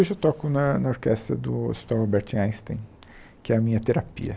Hoje eu toco na na orquestra do Hospital Albert Einstein, que é a minha terapia.